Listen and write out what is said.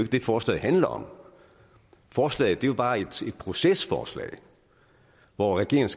det forslaget handler om forslaget er bare et procesforslag hvor regeringen